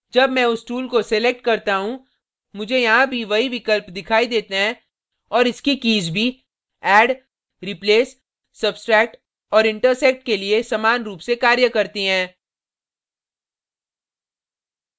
जब मैं उस tool को select करता हूँ मुझे यहाँ भी वही विकल्प दिखाई देते हैं और इसकी कीज़ भी add replace substract और intersect के लिए समान रूप से कार्य करती हैं